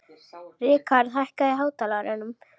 Rikharð, hækkaðu í hátalaranum.